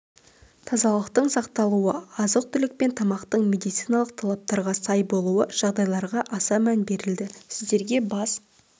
тазалықтың сақталуы азық-түлік пен тамақтың медициналық талаптарға сай болуы жағдайларға аса мән берілді сіздерге бас